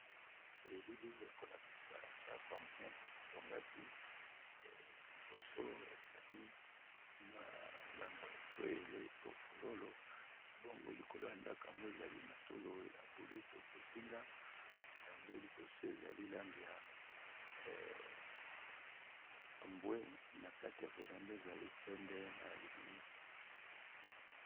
Elili oyo e kolakisa ndako ya monene batongaki ,liboso ezali mwa ndambo etoyele to fololo bongo likolo ya ndako yango ezali matolo ya boleto ya bozinga yango liboso ezali langi ya mbwe na kati ya vérandas ezali pembe na lininisa.